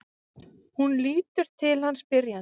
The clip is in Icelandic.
Hún lítur til hans spyrjandi.